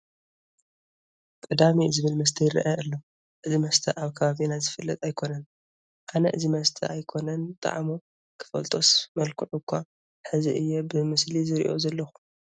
ቅዳሜ ዝብል መስተ ይርአ ኣሎ፡፡ እዚ መስተ ኣብ ከባቢና ዝፍለጥ ኣይኮነን፡፡ ኣነ እዚ መስተ ኣይኮነን ጣዕሙ ክፈልጦስ መልክዑ እዃ ሕዚ እየ ብምስሊ ዝሪኦ ዘለኹ፡፡